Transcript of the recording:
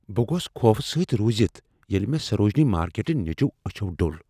بہٕ گوس خوفہ سۭتۍ رُوزتھ ییٚلہ مےٚ سروجنی مارکیٹہٕ نیٚچو أچھو ڈوٚل۔